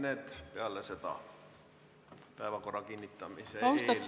Need peale seda, päevakorra kinnitamise eel.